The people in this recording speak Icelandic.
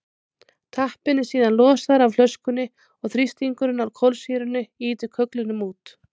tappinn er síðan losaður af flöskunni og þrýstingurinn á kolsýrunni ýtir kögglinum út